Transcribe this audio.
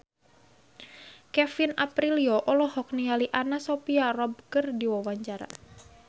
Kevin Aprilio olohok ningali Anna Sophia Robb keur diwawancara